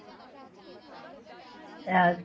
ਅਹ